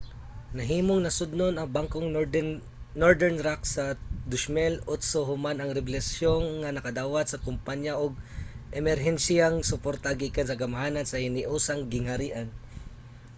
nahimong nasodnon ang bangkong northern rock sa 2008 human ang rebelasyon nga nakadawat ang kumpaya og emerhensiyang suporta gikan sa kagamhanan sa hiniusang gingharian